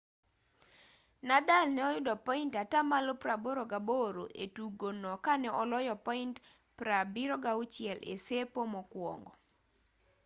nadal ne oyudo point 88% e tugo no kane oloyo point 76 e sepo mokwongo